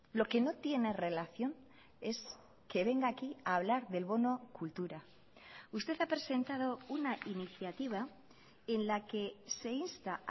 lo que no tiene relación es que venga aquí a hablar del bono cultura usted ha presentado una iniciativa en la que se insta